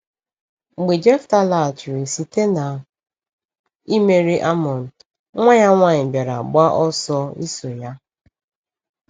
Mgbe Jefta laghachiri site na imeri Amọn, nwa ya nwanyị bịara gba ọsọ iso ya.